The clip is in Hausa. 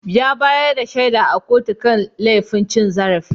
Ya bayar da shaida a kotu kan laifin cin zarafi.